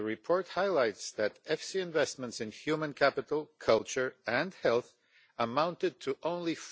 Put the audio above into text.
The report highlights that EFSI investments in human capital, culture and health amounted to only